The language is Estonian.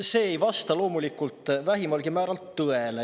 See ei vasta loomulikult vähimalgi määral tõele.